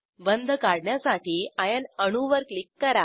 बंध काढण्यासाठी आयर्न अणू वर क्लिक करा